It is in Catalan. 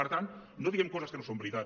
per tant no diguem coses que no són veritat